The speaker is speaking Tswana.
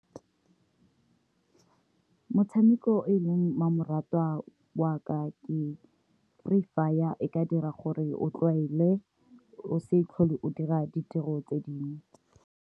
Motshameko o e leng mmamoratwa wa ka ke Free Fire, e ka dira gore o tlwaele o se tlhole o dira ditiro tse dingwe.